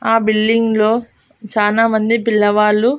ఆ బిల్డింగ్ లో చానా మంది పిల్లవాళ్ళు.